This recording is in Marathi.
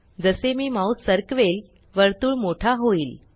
जसे मी माउस सरकवेल वर्तुळ मोठा होईल